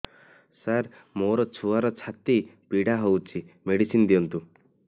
ସାର ମୋର ଛୁଆର ଛାତି ପୀଡା ହଉଚି ମେଡିସିନ ଦିଅନ୍ତୁ